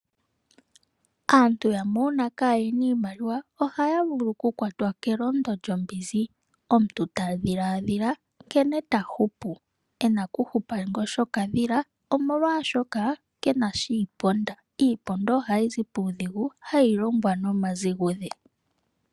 Aantu yamwe uuna kayena iimaliwa ohaa vulu oku kwatwa kelondo lyombinzi omuntu tadhilaadhila nkene tahupu, ena okuhupa ngoshokadhila omolwaashoka kenasha iiponda. Iiponda hayizi puudhigu hayi longwa nomaziguze.